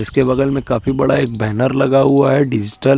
इसके बगल में काफी बड़ा एक बैनर लगा हुआ है डिजिटल --